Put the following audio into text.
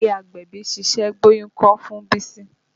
Ìyá agbẹ̀bí ṣiṣẹ́ gbóyún kọ́ fún Bísí